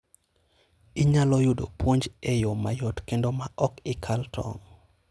Inyalo yudo puonj e yo mayot kendo maok ikal tong'.